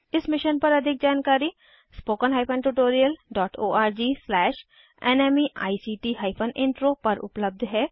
इस मिशन पर अधिक जानकारी httpspoken tutorialorgNMEICT Intro पर उपलब्ध है